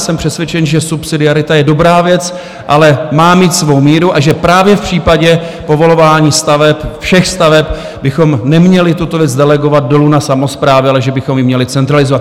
Jsem přesvědčen, že subsidiarita je dobrá věc, ale má mít svou míru, a že právě v případě povolování staveb, všech staveb bychom neměli tuto věc delegovat dolů na samosprávy, ale že bychom ji měli centralizovat.